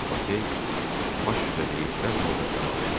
Lakey baş üstə deyib dərhal da əlavə elədi.